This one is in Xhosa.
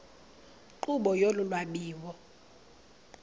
nkqubo yolu lwabiwo